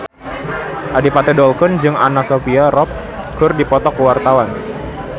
Adipati Dolken jeung Anna Sophia Robb keur dipoto ku wartawan